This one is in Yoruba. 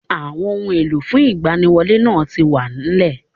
Àwon ohun èlò fún ìgbaniwọlé náà ti wà nlẹ̀